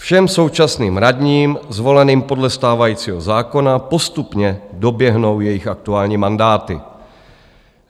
Všem současným radním zvoleným podle stávajícího zákona postupně doběhnou jejich aktuální mandáty.